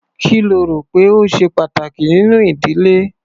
Kí lo rò pé ó ṣe pàtàkì nínú ìdílé?